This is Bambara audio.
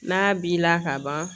N'a b'i la ka ban